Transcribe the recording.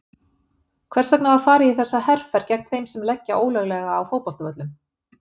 Hvers vegna var farið í þessa herferð gegn þeim sem leggja ólöglega á fótboltavöllum?